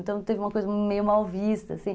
Então, teve uma coisa meio mal vista, assim.